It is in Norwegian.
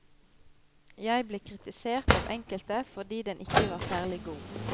Jeg ble kritisert av enkelte fordi den ikke var særlig god.